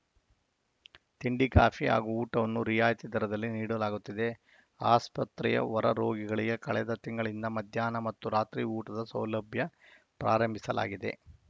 ತಿಂಡಿ ಕಾಫಿ ಹಾಗೂ ಊಟವನ್ನು ರಿಯಾಯಿತಿ ದರದಲ್ಲಿ ನೀಡಲಾಗುತ್ತದೆ ಆಸ್ಪತ್ರೆಯ ಹೊರರೋಗಿಗಳಿಗೆ ಕಳೆದ ತಿಂಗಳಿಂದ ಮಧ್ಯಾಹ್ನ ಮತ್ತು ರಾತ್ರಿ ಊಟದ ಸೌಲಭ್ಯ ಪ್ರಾರಂಭಿಸಲಾಗಿದೆ